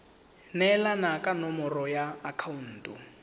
neelana ka nomoro ya akhaonto